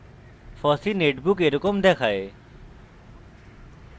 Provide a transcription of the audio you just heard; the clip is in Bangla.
fossee netbook এরকম দেখায়